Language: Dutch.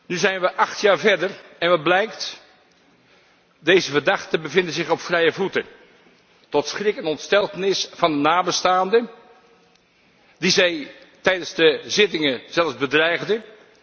Nu zijn we acht jaar verder en wat blijkt? Deze verdachten bevinden zich op vrije voeten, tot schrik en ontsteltenis van de nabestaanden die zij tijdens de zittingen zelfs bedreigden.